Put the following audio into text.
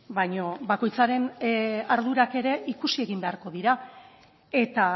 baina bakoitzaren ardurak ere ikusi egin beharko dira eta